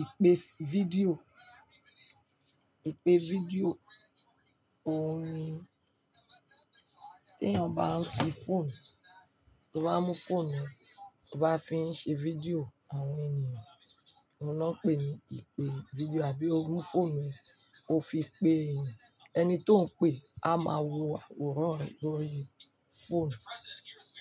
Ìpè fídíò, ìpè fídíò, òun ni tí ènìyàn bá ń fi fóònù, tí ó bá mú fóònù rẹ̀, tí ó bá fi ń ṣe fídíò àwọn ènìyàn, òun ni wọ́n pè ní ìpè fídíò àbí ó mú fóònù ẹ, ó fi ń pe ènìyàn, ẹni tí ó ń pe, á máa wo àwòrán rẹ̀ lórí fóònù,